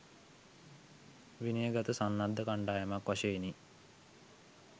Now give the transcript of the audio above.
විනය ගත සන්නද්ධ කණ්ඩායමක් වශයෙනි